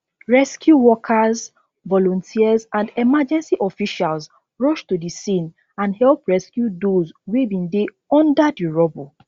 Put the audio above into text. rescue workers volunteers and emergency officials rush to di scene and help rescue dose wey bin dey under di rubble